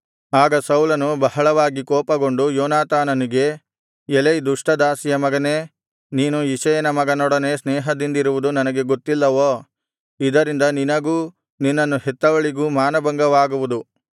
ಆಗ ಸೌಲನು ಬಹಳವಾಗಿ ಕೋಪಗೊಂಡು ಯೋನಾತಾನನಿಗೆ ಎಲೈ ದುಷ್ಟ ದಾಸಿಯ ಮಗನೇ ನೀನು ಇಷಯನ ಮಗನೊಡನೆ ಸ್ನೇಹದಿಂದಿರುವುದು ನನಗೆ ಗೊತ್ತಿಲ್ಲವೋ ಇದರಿಂದ ನಿನಗೂ ನಿನ್ನನ್ನು ಹೆತ್ತವಳಿಗೂ ಮಾನಭಂಗವಾಗುವುದು